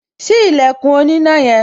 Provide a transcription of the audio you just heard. Ṣí ilẹ̀kùn oníná yẹn